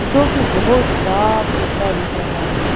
जो कि बहुत साफ-सुथरा दिख रहा है।